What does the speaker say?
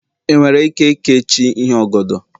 ị nwere ike keechi ihe oghodo?